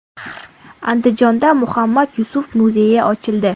Andijonda Muhammad Yusuf muzeyi ochildi.